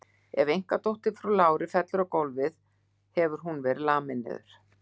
Ef einkadóttir frú Láru fellur á gólfið hefur hún verið lamin niður.